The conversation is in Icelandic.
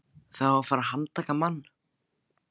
Það á að fara að handtaka mann.